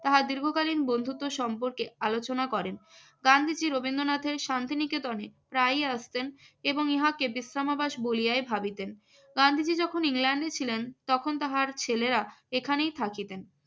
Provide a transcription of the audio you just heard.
তাহার বন্ধুত্ব সম্পর্কে আলোচনা করেন গান্ধীজি রবীন্দ্রনাথের শান্তিনিকেতনে প্রায়ই আসতেন এবং ইহাকে বিশ্রামাভাস বলিয়াই ভাবিতেন। গান্ধীজি যখন ইংল্যান্ডে ছিলেন তখন তাহার ছেলেরা এখানেই থাকিতেন।